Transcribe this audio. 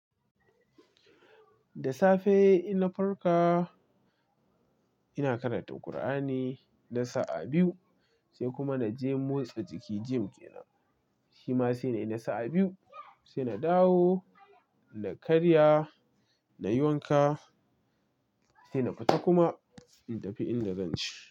Da safe! Inna farka, ina karatun Kur'ani na sa'a biyu, sai kuma na je motsa jiki gym ke nan. Shi ma sai na yi na sa'a biyu, sai na dawo, na karya, na yi wanka, sai na fita kuma, in tafi inda zan ci.